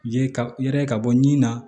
Ye ka yɛrɛ ka bɔ ni na